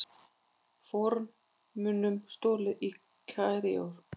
Fornmunum stolið í Kaíró